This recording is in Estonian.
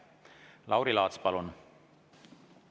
Lauri Laats, palun!